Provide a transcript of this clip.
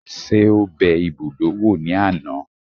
Ṣé ó bẹ ibùdó wò ní àná?